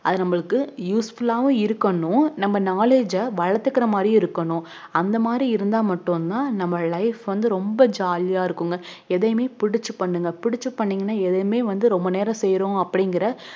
அது நமக்கு usefull ஆஹ் உம் இருக்கனும் நம் knowledge அஹ் வளத்துக்குற மாதிரியும் இருக்கணும் அந்த மாதிரி இருந்தா மட்டும் தான் நம்ம life ரொம் jolly ஆஹ் இருக்கும்ங்கஎதையுமே புடிச்சு பண்ணுங்க புடிச்சு பண்ணிங்க எதையுமே ரொம்ப நேரம் செய்யுறோம்